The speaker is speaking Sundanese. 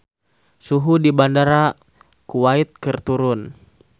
Suhu di Bandara Kuwait keur turun